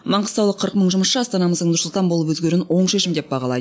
маңғыстаулық қырық мың жұмысшы астанамыздың нұр сұлтан болып өзгеруін оң шешім деп бағалайды